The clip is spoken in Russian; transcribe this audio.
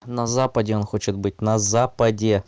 на западе он хочет быть на западе